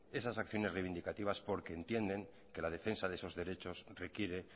esas acciones reivindicativas porque entienden que la defensa de sus derechos requiere